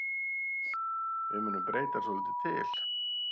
Við munum breyta svolítið til.